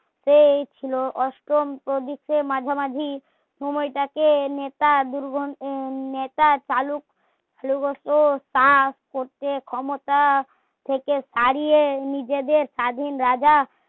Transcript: সেই ছিলো অষ্টম প্রবিতের মাঝামাঝি সময়টা কে নেতা নেতা চালু হতো তা ক্ষমতা থেকে তাড়িয়ে নিজেদের স্বাধীন রাজা